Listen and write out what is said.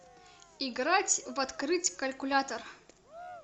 играть в открыть калькулятор